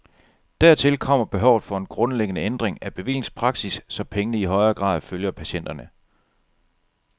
Dertil kommer behovet for en grundlæggende ændring af bevillingspraksis, så pengene i højere grad følger patienterne.